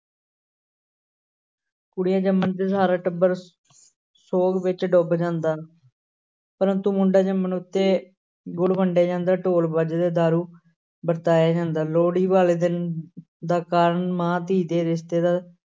ਕੁੜੀ ਜੰਮਣ ਤੇ ਸਾਰਾ ਟੱਬਰ ਸੋਗ ਵਿੱਚ ਡੁੱਬ ਜਾਂਦਾ, ਪਰੰਤੂ ਮੁੰਡਾ ਜੰਮਣ ਉੱਤੇ ਗੁੜ ਵੰਡਿਆ ਜਾਂਦਾ, ਢੋਲ ਵੱਜਦੇ, ਦਾਰੂ ਵਰਤਾਇਆ ਜਾਂਦਾ, ਲੋਹੜੀ ਵਾਲੇ ਦਿਨ ਦਾ ਕਾਰਨ ਮਾਂ ਧੀ ਦੇ ਰਿਸਤੇ ਦਾ